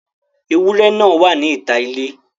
Ewúrẹ́ náà wà níta ilé.